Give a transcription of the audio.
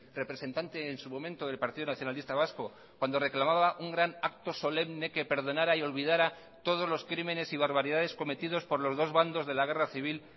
representante en su momento del partido nacionalista vasco cuando reclamaba un gran acto solemne que perdonara y olvidara todos los crímenes y barbaridades cometidos por los dos bandos de la guerra civil